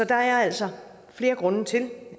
der er altså flere grunde til